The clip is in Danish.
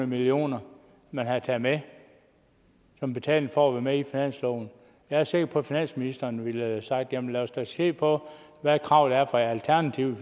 million kr man havde taget med som betaling for at være med i finansloven jeg er sikker på at finansministeren ville have sagt jamen lad os da se på hvad krav der er fra alternativet